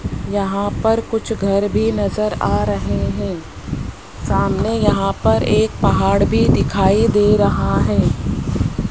यहां पर कुछ घर भी नजर आ रहे हैं सामने यहां पर एक पहाड़ भी दिखाई दे रहा है।